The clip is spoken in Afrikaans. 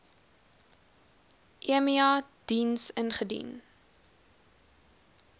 emia diens ingedien